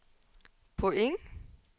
point